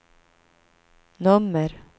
nummer